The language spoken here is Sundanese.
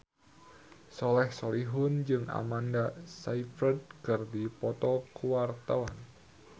Soleh Solihun jeung Amanda Sayfried keur dipoto ku wartawan